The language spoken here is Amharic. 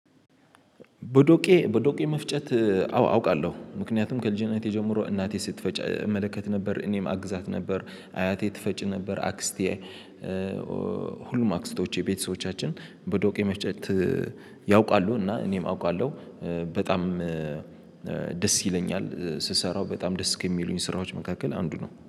በዶቄ በዶቄ መፍጨት አወ አውቃለሁ ምክንያቱም ከልጅነቴ ጀምሮ እናቴ ስትፈጭ እመለከት ነበር እኔም አግዛት ነበር። አያቴ ትፈጭ ነበር አክስቴ። ሁሉም አክስቶቼ ቤተሰቦቻችን በዶቄ መፍጨት ያውቃሉ እና እኔም አውቃለሁ። በጣም ደስ ይለኛል ስሰራው በጣም ደስ ከሚሉኝ ስራዎች መካከል አንዱ ነው